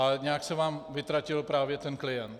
Ale nějak se vám vytratil právě ten klient.